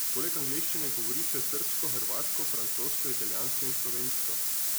Poleg angleščine govori še srbsko, hrvaško, francosko, italijansko in slovensko.